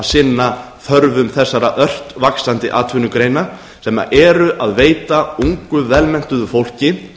að sinna þörfum þessara ört vaxandi atvinnugreina sem eru að veita ungu vel menntuðu fólki